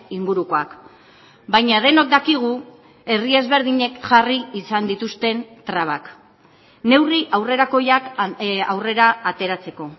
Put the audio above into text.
ingurukoak baina denok dakigu herri ezberdinek jarri izan dituzten trabak neurri aurrerakoiak aurrera ateratzeko